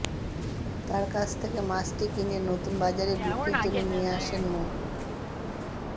তাঁর কাছ থেকে মাছটি কিনে নতুন বাজারে বিক্রির জন্য নিয়ে আসেন মো